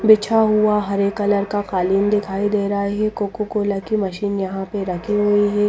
बिछा हुआ हरे कलर का कालीन दिखाई दे रहा है ये कोकाकोला की मशीन यहां पर रखे हुए हैं।